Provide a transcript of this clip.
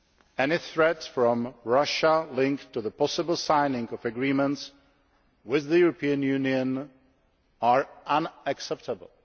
Any threats from Russia linked to the possible signing of agreements with the European Union are unacceptable.